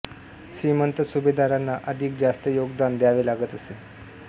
श्रीमंत सुभेदारांना अधिक जास्त योगदान द्यावे लागत असे